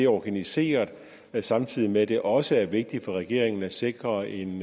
organiseret samtidig er det også vigtigt for regeringen at sikre en